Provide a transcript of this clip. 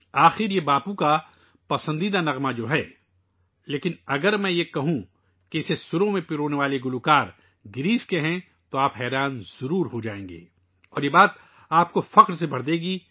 بہر حال، یہ باپو کا پسندیدہ گانا ہے، لیکن اگر میں آپ کو بتاؤں کہ جن گلوکاروں نے اسے گایا ہے ، وہ یونان سے ہیں، تو آپ یقیناً حیران ہوں گے! اور یہ آپ کو بھی فخر سے بھر دے گا